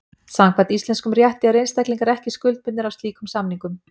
Samkvæmt íslenskum rétti eru einstaklingar ekki skuldbundnir af slíkum samningum.